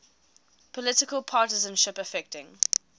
political partisanship affecting